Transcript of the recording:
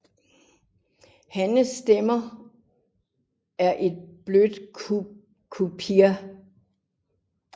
Hannens stemme er et blødt queerp